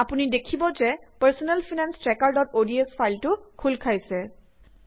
আপুনি দেখিব যে পাৰ্চনেল ফাইনেঞ্চ ট্ৰেকাৰods ফাইলটো খোল খাইছে